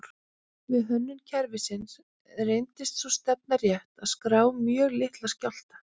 Við hönnun kerfisins reyndist sú stefna rétt að skrá mjög litla skjálfta.